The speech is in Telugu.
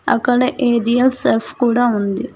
అక్కడ ఏరియల్ సర్ఫ్ కూడా ఉంది.